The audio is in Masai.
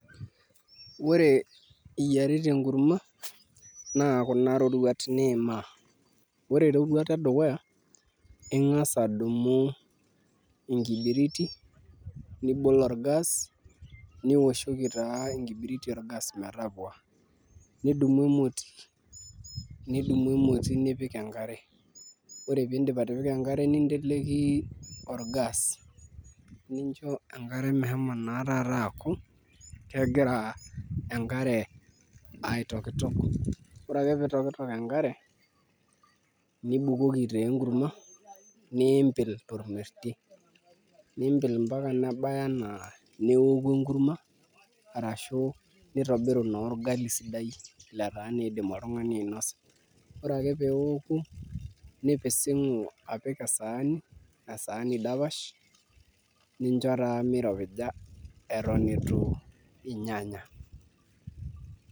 Ore iyiarita enkurma naa kuna iroruat niimaa, ore eroruata edukuya ing'as adumu enkibiriti nibol orgas nioshoki taa enkibiriti orgas metapua, nidumu emoti nipik enkare ore pee indim atipika enkare ninteleiki orgas nincho enkare meshumo taata aku kegira enkare aitokitok ore ake pee itokitok enkare nibukoki taa enkurma niimpil tormesie, niimpil ometaba enaa neoku enkurma arashu nitobiru naa orgali sidai letaa naa iidim oltung'ani ainasa, ore ake pee eoku nipising'u apik esaani dapash nincho taa miropija eton itu inyanya.